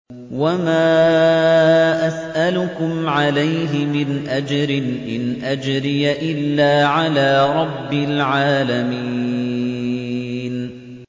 وَمَا أَسْأَلُكُمْ عَلَيْهِ مِنْ أَجْرٍ ۖ إِنْ أَجْرِيَ إِلَّا عَلَىٰ رَبِّ الْعَالَمِينَ